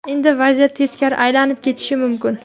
Endi vaziyat teskari aylanib ketishi mumkin.